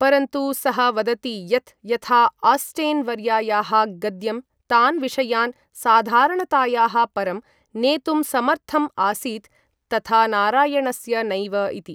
परन्तु, सः वदति यत् यथा आस्टेन् वर्यायाः गद्यं तान् विषयान् साधारणतायाः परं नेतुम् समर्थम् आसीत्, तथा नारायणस्य नैव इति।